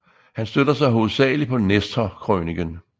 Han støtter sig hovedsagelig på Nestorkrøniken